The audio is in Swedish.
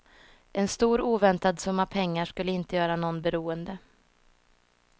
En stor oväntad summa pengar skulle inte göra någon beroende.